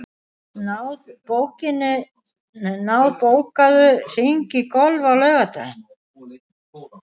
Náð, bókaðu hring í golf á laugardaginn.